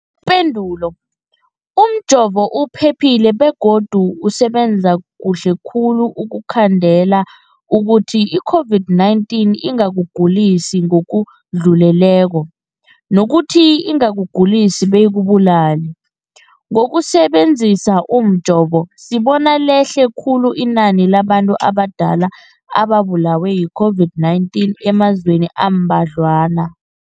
Ipendulo, umjovo uphephile begodu usebenza kuhle khulu ukukhandela ukuthi i-COVID-19 ingakugulisi ngokudluleleko, nokuthi ingakugulisi beyikubulale. Ngokusebe nzisa umjovo, sibone lehle khulu inani labantu abadala ababulewe yi-COVID-19 emazweni ambadlwana.